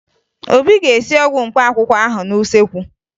Obi ga-esi ọgwụ mkpaakwụkwọ ahụ n'useekwu